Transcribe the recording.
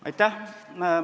Aitäh!